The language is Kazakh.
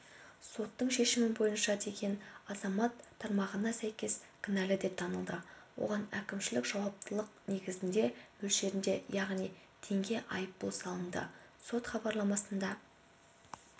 соттың шешімі бойынша деген азамат тармағына сәйкес кінәлі деп танылды оған әкімшілік жауаптылық негізінде мөлшерінде яғни теңге айыппұл салынды сот хабарламасында